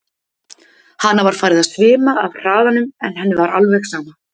Hana var farið að svima af hraðanum en henni var alveg sama.